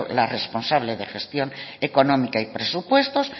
la responsable de gestión económica y presupuestos